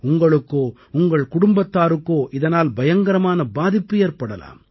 உங்களுக்கோ உங்கள் குடும்பத்தாருக்கோ இதனால் பயங்கரமான பாதிப்பு ஏற்படலாம்